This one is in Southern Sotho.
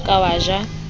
ha o ka wa ja